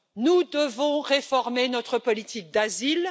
Nous devons réformer notre politique d'asile.